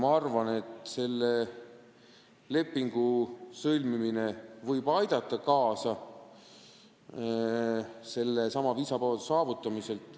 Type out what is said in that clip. Ma arvan, et selle lepingu sõlmimine võib aidata kaasa sellesama viisavabaduse saavutamisele.